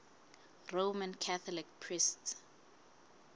roman catholic priests